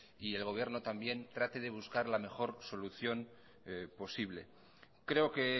y el gobierno también trate de buscar la mejor solución posible creo que